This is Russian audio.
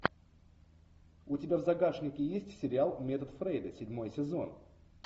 у тебя в загашнике есть сериал метод фрейда седьмой сезон